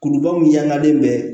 Kuluba min yaalalen bɛ